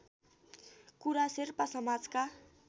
कुरा शेर्पा समाजका